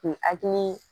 K'i hakili